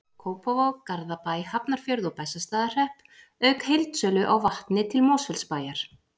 Kópavog, Garðabæ, Hafnarfjörð og Bessastaðahrepp, auk heildsölu á vatni til Mosfellsbæjar.